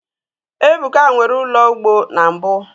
ebuka nwere ulo ugbo na mbu